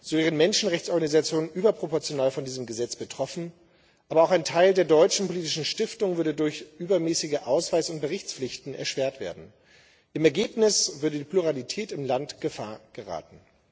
So sind Menschenrechtsorganisationen überproportional von diesem Gesetz betroffen, aber auch ein Teil der deutschen politischen Stiftungen würde durch übermäßige Ausweis und Berichtspflichten behindert. Im Ergebnis würde die Pluralität im Land in Gefahr geraten.